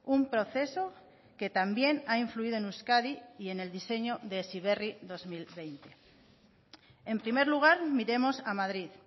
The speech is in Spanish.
un proceso que también ha influido en euskadi y en el diseño de heziberri dos mil veinte en primer lugar miremos a madrid